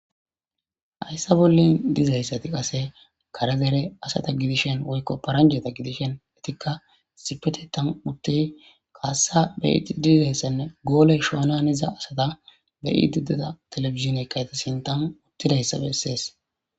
Hayssa bollin dizayssati qase kare dere asata gidishin woykko paranjeta gidishin etikka issipeteththan uttiy kaassa beyidi dizayssanne gooley shoolan iza asata beyidideda telefizine kayta sintan uttidayssa bessees.